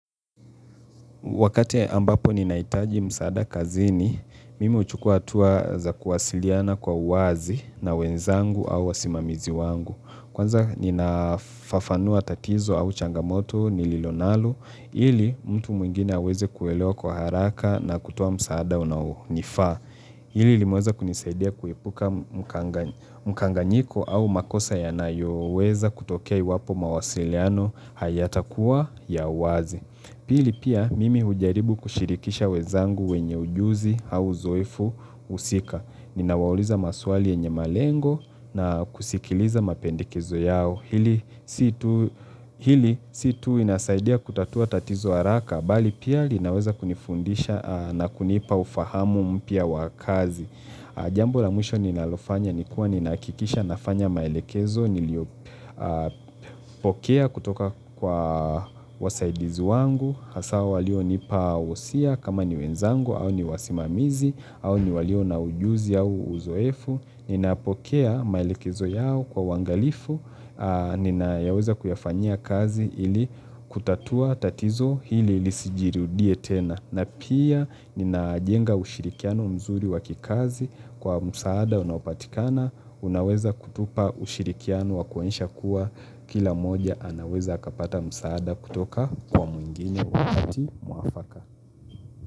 Wakate ambapo ni naitaji msaada kazini, mimi uchukua tuwa za kuwasiliana kwa uwazi na wenzangu au wasimamizi wangu. Kwanza ninafafanua tatizo au changamoto nililo nalo, ili mtu mwingine aweze kuelewa kwa haraka na kutoa msaada unao nifaa. Hili limeweza kunisaidia kuipuka mkanga mkanganyiko au makosa ya nayo weza kutokea iwapo mawasiliano hayata kuwa ya uwazi. Pili pia mimi hujaribu kushirikisha wezangu wenye ujuzi au uzoefu usika. Ninawauliza maswali yenye malengo na kusikiliza mapendekezo yao hili si tuu Hili situ inasaidia kutatua tatizo haraka. Bali pia linaweza kunifundisha na kunipa ufahamu mpyka wakazi. Jambo la mwisho ninalofanya nikuwa ninaakikisha nafanya maelekezo. Niliopokea kutoka kwa wasaidizi wangu hasa walio nipawosia kama ni wenzangu au ni wasimamizi au ni walio na ujuzi au uzoefu ninapokea maelekezo yao kwa uwangalifu ninayaweza kuyafanya kazi ili kutatua tatizo hili ilisijirudie tena na pia ninajenga ushirikiano mzuri wakikazi kwa msaada unapatikana Unaweza kutupa ushirikiano wakuonyesha kuwa Kila moja anaweza akapata msaada kutoka kwa mwingine wakati mwafaka.